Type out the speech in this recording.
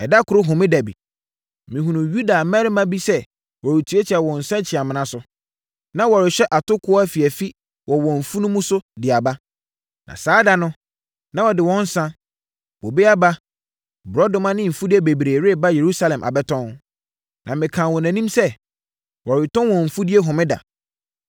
Ɛda koro Homeda bi, mehunuu Yuda mmarima bi sɛ wɔretiatia wɔn nsakyiamena so. Na wɔrehyehyɛ atokoɔ afiafi wɔ wɔn mfunumu so de aba. Na saa da no, na wɔde wɔn nsã, bobe aba, borɔdɔma ne mfudeɛ bebree reba Yerusalem abɛtɔn. Na mekaa wɔn anim sɛ, wɔretɔn wɔn mfudeɛ homeda.